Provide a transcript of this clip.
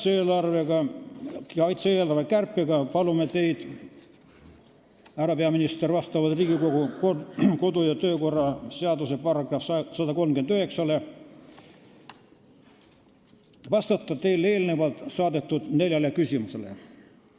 Seoses kaitse-eelarve kärpega palume teil, härra peaminister, Riigikogu kodu- ja töökorra seaduse § 139 alusel vastata eelnevalt saadetud neljale küsimusele.